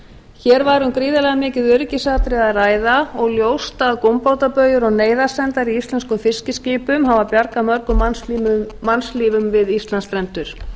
hér var um gríðarlega mikið öryggisatriði að ræða og ljóst að gúmbátabaujur og neyðarsendar í íslenskum fiskiskipum hafa bjargað mörgum mannslífum við íslandsstrendur